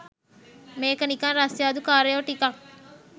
මේක නිකන් රස්තියාදු කාරයෝ ටිකක්